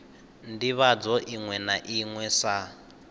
ndivhadzo iṅwe na iṅwe sa